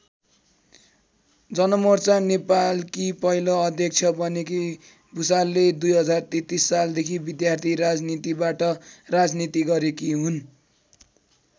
जनमोर्चा नेपालकी पहिलो अध्यक्ष बनेकी भुसालले २०३३ सालदेखि विद्यार्थी राजनीतिबाट राजनीति गरेकी हुन्।